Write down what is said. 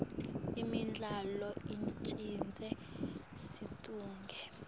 imidlalo icedza situnge